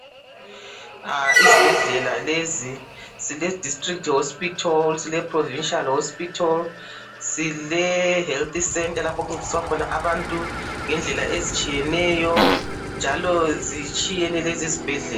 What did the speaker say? Izibhedlela lezi ziledistrict hospital, zileprovincila hospital, zilehealth centre lapho okuncediswa khona abantu ngendlela ezitshiyeneyo njalo zitshiyene lezi zibhedlela.